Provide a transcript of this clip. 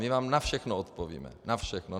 My vám na všechno odpovíme, na všechno.